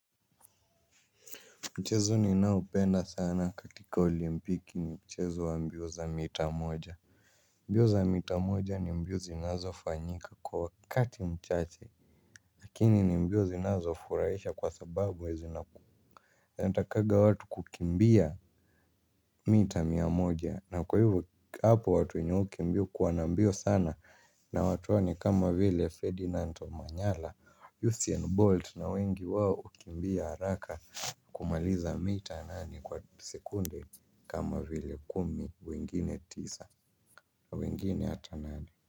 Mchezo ninaopenda sana katika olimpiki ni mchezo wa mbio za mita moja. Mbio za mita moja ni mbio zinazofanyika kwa wakati mchache. Lakini ni mbio zinazofuraisha kwa sababu huwa zina ku intakaga watu kukimbia mita mia moja na kwa hivo hapo watu wenye hukimbia hukuwa na mbio sana na watu wa ni kama vile Ferdinando Manyala, hussien Bolt na wengi wao hukimbia haraka. Kumaliza mita nane kwa sekunde kama vile kumi wengine tisa wengine hata nane.